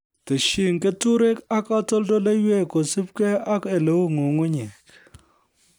Tesyi keturek ak katoldoloiwek kosubke ak oleu nyung'unyek